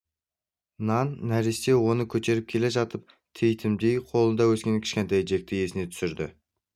нан нәресте оны көтеріп келе жатып титімдейінен қолында өскен кішкентай джекті есіне түсірді